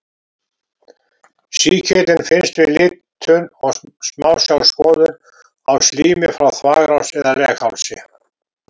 Sýkillinn finnst við litun og smásjárskoðun á slími frá þvagrás eða leghálsi.